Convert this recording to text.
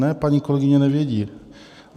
Ne, paní kolegyně nevědí.